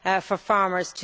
for farmers.